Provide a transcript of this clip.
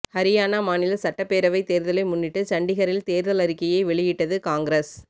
ஹரியானா மாநில சட்டப்பேரவை தேர்தலை முன்னிட்டு சண்டிகரில் தேர்தல் அறிக்கையை வெளியிட்டது காங்கிரஸ்